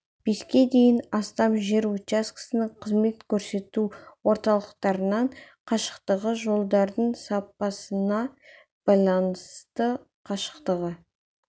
беске дейін астам жер учаскесінің қызмет көрсету орталықтарынан қашықтығы жолдардың сапасына байланысты қашықтығы